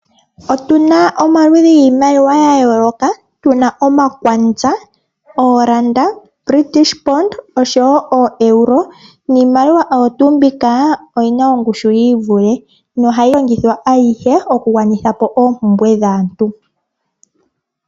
Otuna omaludhi giimaliwa ya yooloka, tuna omakwanza, oolanda, British pond, ooshowo ooEuro niimaliwa oyo tuu mbika, oyina ongushu yiivule nohayi longithwa ayihe oku gwanitha po oompumbwe dhaantu.